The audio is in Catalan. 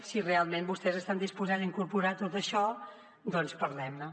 si realment vostès estan disposats a incorporar tot això doncs parlem ne